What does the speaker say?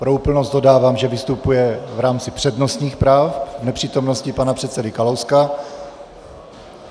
Pro úplnost dodávám, že vystupuje v rámci přednostních práv v nepřítomnosti pana předsedy Kalouska.